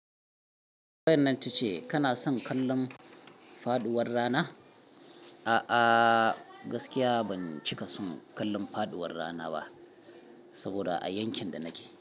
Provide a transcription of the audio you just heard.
Tambayar nan ce kana son kallon faɗuwar rana? A'a, gaskiya ban cika son kallon faɗuwar rana ba, saboda a yankin da nake.